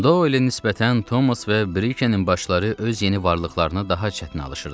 Doylə nisbətən Tomas və Brikenin başları öz yeni varlıqlarına daha çətin alışırdılar.